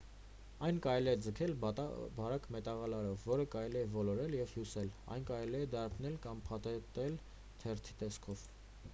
այն կարելի է ձգել բարակ մետաղալարով որը կարելի է ոլորել և հյուսել այն կարելի է դարբնել կամ փաթաթել թերթի տեսքով